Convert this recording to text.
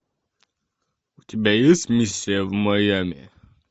у тебя есть миссия в майами